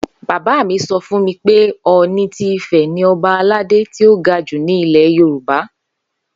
Bàbá mi so̩ fún mi pé O̩ò̩ni ti Ifè̩ ni o̩ba aládé tí ó ga jù ní ilè̩ Yorùbá